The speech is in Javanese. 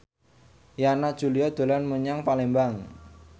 Yana Julio dolan menyang Palembang